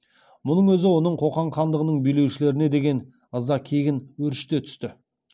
мұның өзі оның қоқан хандығының билеушілеріне деген ыза кегін өршіте түсті